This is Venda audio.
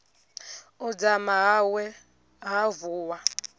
u dzama hawe ha vuwa